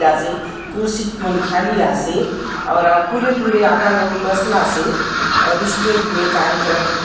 लियासए ख़ुर्शी मन खालि आसे और पुरे-पुरे आधा लोग बसलासे और स्टेज ने कार्यक्रम--